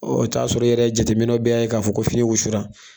i bi t'a sɔrɔ i yɛrɛ jateminɛw bɛɛ y'a ye k'a fɔ ko fini wusura.